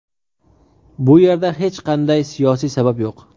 Bu yerda hech qanday siyosiy sabab yo‘q.